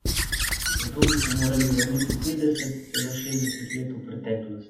Zato bi se morali vrniti petdeset, celo šestdeset let v preteklost.